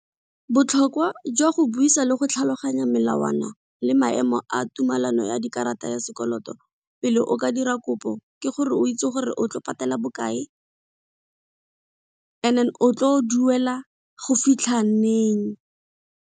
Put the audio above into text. Botlhokwa jwa go buisa le go tlhaloganya melawana le maemo a tumelano ya dikarata ya sekoloto pele o ka dira kopo, ke gore o itse gore o tlo patela bokae and then o tlo duela go fitlha neng.